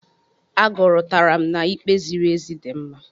Agụrụtara m na'ikpe ziri ezi dị mma.